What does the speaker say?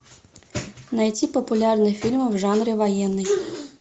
найти популярные фильмы в жанре военный